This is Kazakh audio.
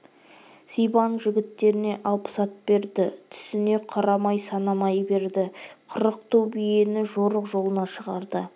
сибан жігіттеріне алпыс ат берді түсіне қарамай санамай берді қырық ту биені жорық жолына шығарды